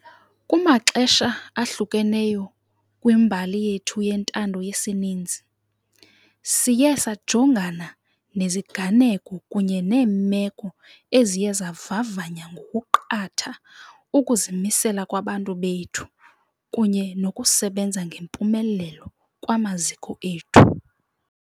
Kumaxesha ahlukeneyo kwimbali yethu yentando yesininzi, siye sajongana neziganeko kunye neemeko eziye zavavanya ngokuqatha ukuzimisela kwabantu bethu kunye nokusebenza ngempumelelo kwamaziko ethu.